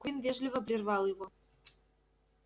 куинн вежливо прервал его